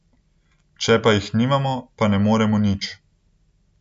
Če pa jih nimamo, pa ne moremo nič.